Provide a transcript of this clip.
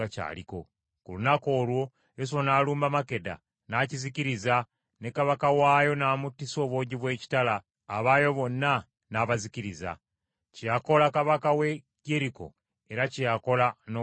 Ku lunaku olwo Yoswa n’alumba Makkeda n’akizikiriza ne kabaka waayo n’amuttisa obwogi bw’ekitala, abaayo bonna n’abazikiriza, kye yakola kabaka w’e Yeriko era kye yakola n’ow’e Makkeda.